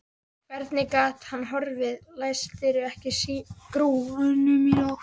Hvernig gat það horfið, læstirðu ekki skúrnum í nótt?